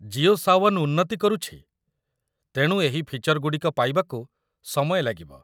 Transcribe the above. ଜିଓ ସାୱନ୍ ଉନ୍ନତି କରୁଛି, ତେଣୁ ଏହି ଫିଚର୍ ଗୁଡ଼ିକ ପାଇବାକୁ ସମୟ ଲାଗିବ।